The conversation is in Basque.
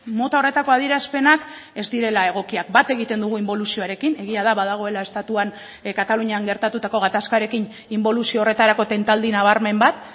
mota horretako adierazpenak ez direla egokiak bat egiten dugu inboluzioarekin egia da badagoela estatuan katalunian gertatutako gatazkarekin inboluzio horretarako tentaldi nabarmen bat